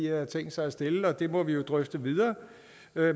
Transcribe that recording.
har tænkt sig at stille det må vi jo drøfte videre